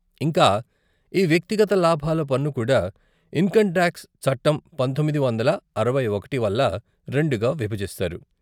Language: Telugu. ఇంకా, ఈ వ్యక్తిగత లాభాల పన్నుకూడా ఇన్కమ్ టాక్స్ చట్టం పంతొమ్మిది వందల అరవై ఒకటి వల్ల రెండుగా విభజిస్తారు.